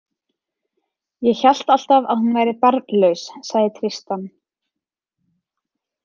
Ég hélt alltaf að hún væri barnlaus, sagði Tristan.